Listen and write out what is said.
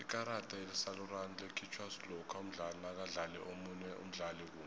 ikarada elisarulana likhitjhwa lokha umdlali nakadlale omunye umdlali kumbi